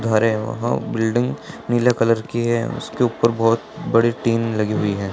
घर हैं वहां बिल्डिंग नीले कलर की है उसके ऊपर बहुत बड़ी टीन लगी हुई है।